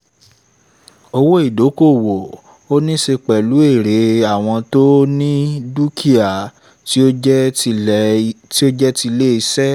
owó ìdókòwò: ó níí ṣe pẹ̀lú èrè àwọn tó ni dúkìá tí ó jẹ́ tilé iṣẹ́